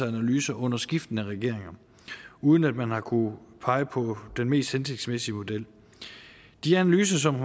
analyser under skiftende regeringer uden at man har kunnet pege på den mest hensigtsmæssige model i de analyser som